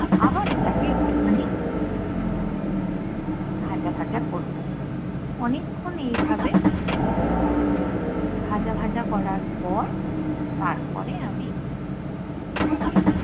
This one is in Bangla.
আবার ওটাকে একটু খানি ভাজা ভাজা করবো অনেক্ষন এই ভাবে আহ ভাজা ভাজা করার পর তারপরে আমি ওটাকে